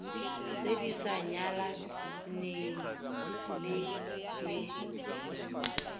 tse di sa nyalaneleng le